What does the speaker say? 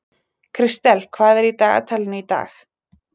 Kristel, hvað er í dagatalinu í dag?